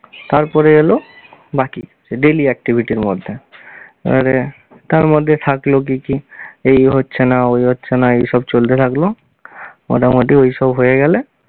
তারপরে এল বাকি daily activity র মধ্যে এবারে তার মধ্যে থাকলো কী কী? এই হচ্ছে না ওই হচ্ছে না এসব চলতে থাকলো মোটামুটি ওইসব হয়ে গেলে